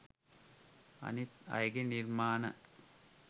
අනිත් අයගේ නිර්මාණ